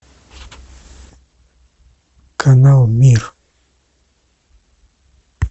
канал мир